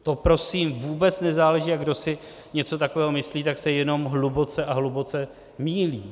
To prosím vůbec nezáleží, a kdo si něco takového myslí, tak se jenom hluboce a hluboce mýlí.